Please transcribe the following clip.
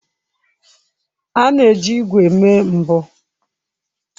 A na-eji ígwè mee mbọ.